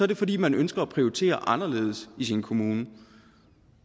det fordi man ønsker at prioritere anderledes i sin kommune